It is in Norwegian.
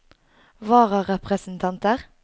vararepresentanter